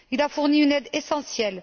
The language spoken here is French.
Il a fourni une aide essentielle.